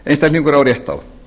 einstaklingur á rétt á